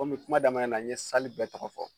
Komi kuma daminɛ na n ye bɛɛ tɔgɔ fɔ